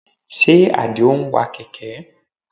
Ṣe Àdìó ń wa kẹ̀kẹ́?